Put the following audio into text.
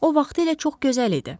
O vaxtı ilə çox gözəl idi.